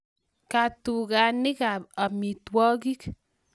Katukanik ab amitwokik